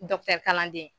kalanden